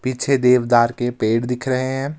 पीछे देवदार के पेड़ दिख रहे हैं।